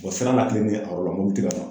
Bɔn sira n'a kilen ni ye karo la munnu te ka ban